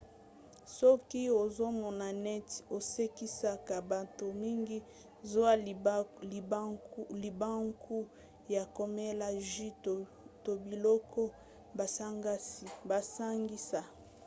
soki ozomona neti osekisaka bato mingi zwa libaku ya komela jus to biloko basangisa: